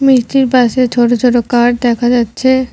মিষ্টির পাশে ছোট ছোট কার্ড দেখা যাচ্ছে।